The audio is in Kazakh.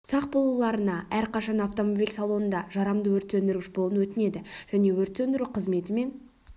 сақ болуларына әрқашан автомобиль салонында жарамды өрт сөндіргіш болуын өтінеді және өрт сөндіру қызметі мен